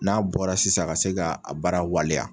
N'a bɔra sisan ka se kaa a baara waleya